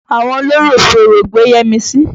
Àwọn olórò fi Orò gbé Yẹ́misì.